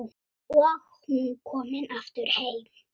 Og hún komin aftur heim.